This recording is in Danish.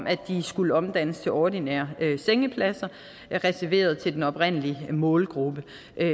at de skulle omdannes til ordinære sengepladser reserveret til den oprindelige målgruppe